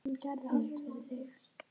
Nú er komið að henni.